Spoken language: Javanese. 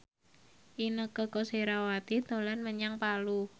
Inneke Koesherawati dolan menyang Palu